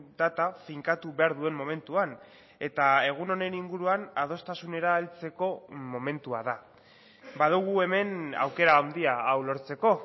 data finkatu behar duen momentuan eta egun honen inguruan adostasunera heltzeko momentua da badugu hemen aukera handia hau lortzeko